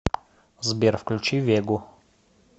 сбер включи вегу